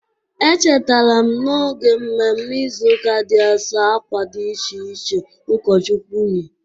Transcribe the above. Echetarara m n'oge mmemme Ịzụụka dị Asọ akwa dị iche iche ụkọchukwu yi.